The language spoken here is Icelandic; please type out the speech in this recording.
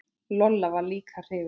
Lolla var líka hrifin.